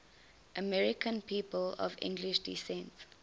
american people of english descent